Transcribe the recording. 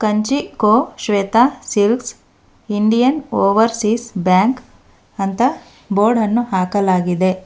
ಕಂಚೀ ಕೋ Shweta silks Indian Overseas Bank ಅಂತ board ಅನ್ನು ಹಾಕಲಾಗಿದೆ.